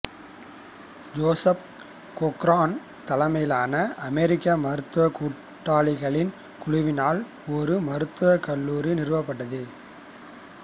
Joseph Cochran தலைமையிலான அமெரிக்க மருத்துவ கூட்டாளிகளின் குழுவினால் ஒரு மருத்துவக் கல்லூரி நிறுவப்பட்டது